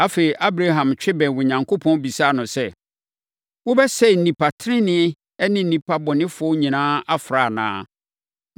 Afei, Abraham twe bɛn Onyankopɔn bisaa no sɛ, “Wobɛsɛe nnipa tenenee ne nnipa bɔnefoɔ nyinaa afra anaa?